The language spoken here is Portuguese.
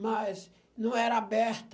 Mas não era aberta.